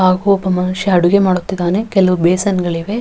ಹಾಗು ಒಬ್ಬ ಮನುಷ್ಯ ಅಡುಗೆ ಮಾಡುತ್ತಿದ್ದಾನೆ ಕೆಲವು ಬೇಸನ್ ಗಳಿವೆ --